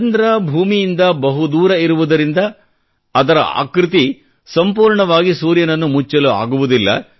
ಚಂದ್ರ ಭೂಮಿಯಿಂದ ಬಹುದೂರ ಇರುವುದರಿಂದ ಅದರ ಆಕೃತಿ ಸಂಪೂರ್ಣವಾಗಿ ಸೂರ್ಯನನ್ನು ಮುಚ್ಚಲು ಆಗುವುದದಿಲ್ಲ